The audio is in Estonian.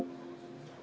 Lõpetan läbirääkimised.